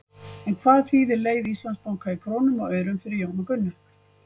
En hvað þýðir leið Íslandsbanka í krónum og aurum fyrir Jón og Gunnu?